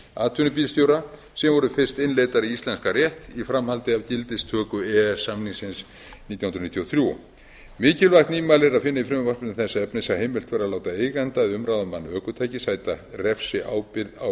atvinnubílstjóra sem voru fyrst innleiddar í íslenskan rétt í framhaldi af gildistöku e e s samningsins nítján hundruð níutíu og þrjú mikilvægt nýmæli er að finna í frumvarpinu þess efnis að heimilt verði að láta eiganda eða umráðamann ökutækis sæta refsiábyrgð á